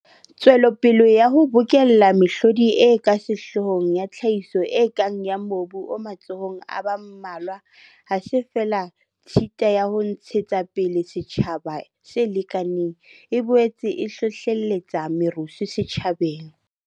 Tswelopele ya ho bokella mehlodi e ka sehloohong ya tlhahiso e kang ya mobu o matsohong a ba mmalwa ha se feela tshita ya ho ntshe tsapele setjhaba se lekanang, e boetse e hlohlelletsa merusu setjhabeng.